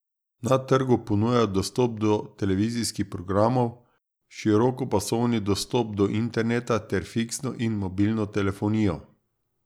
Na trgu ponujajo dostop do televizijskih programov, širokopasovni dostop do interneta ter fiksno in mobilno telefonijo.